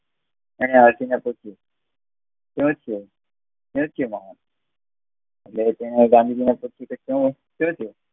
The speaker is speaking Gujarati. એને હાથી ને પૂછ્યું સુ થયું સુ થયું મોહક એટલે તેને